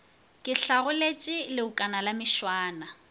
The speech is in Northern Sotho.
ke hlagoletše leokana la mešwana